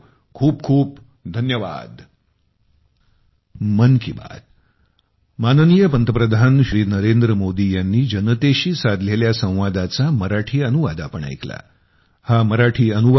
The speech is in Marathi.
खूप खूप धन्यवाद